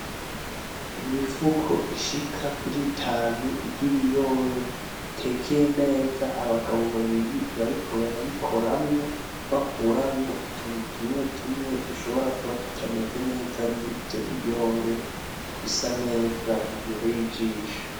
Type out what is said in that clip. Imifuko ishika kuri itanu ry'ibiyobe bitekeye neza, abagabo babiri bariko barayikoramwo bakuramwo utuntu tumwe tumwe dushobora kuba tutameze neza muri ivyo biyobe bisa neza bibereye ijisho.